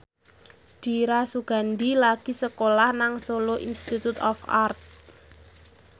Dira Sugandi lagi sekolah nang Solo Institute of Art